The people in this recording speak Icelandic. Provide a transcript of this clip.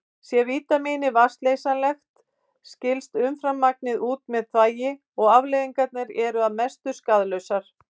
Sé vítamínið vatnsleysanlegt skilst umframmagnið út með þvagi og afleiðingarnar eru að mestu skaðlausar.